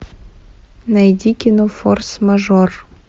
найди кино форс мажор